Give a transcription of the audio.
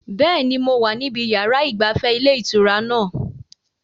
Bẹ́ẹ̀ni, mo wà níbi yàrá ìgbafẹ́ ilé ìtura náà